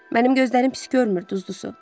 Mənim gözlərim pis görmür, duzlu su.